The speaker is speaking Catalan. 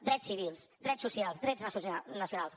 drets civils drets socials drets nacionals